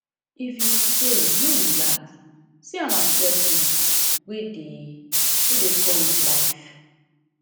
if you fail no relax see am as lesson wey dey wey dey come with life